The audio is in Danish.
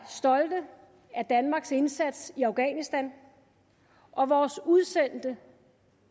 stolte af danmarks indsats i afghanistan og vores udsendte